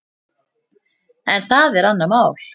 En það er annað mál.